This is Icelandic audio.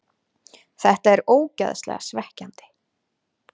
Þetta er ógeðslega svekkjandi.